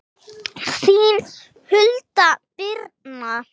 Þín Hulda Birna.